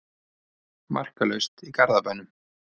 Markalaust í Garðabænum